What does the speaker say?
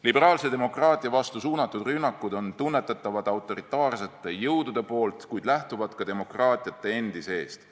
Liberaalse demokraatia vastu suunatud rünnakud on tunnetatavad autoritaarsete jõudude poolt, kuid lähtuvad ka demokraatiate endi seest.